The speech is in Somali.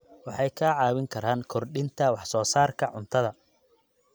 Waxay kaa caawin karaan kordhinta wax soo saarka cuntada.